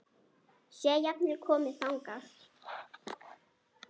Sé jafnvel komið þangað!